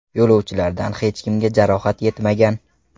Yo‘lovchilardan hech kimga jarohat yetmagan.